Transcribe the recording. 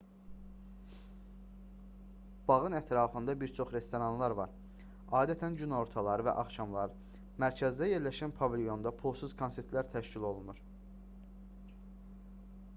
bağın ətrafında bir çox restoranlar var adətən günortalar və axşamlar mərkəzdə yerləşən pavilyonda pulsuz konsertlər təşkil olunur